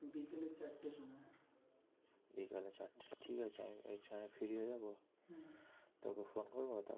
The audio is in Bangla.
বিকালে চারটে ঠিক আছে আমি ওই timr এ free হয়ে যাবো তোকে ফোন করবো তারপর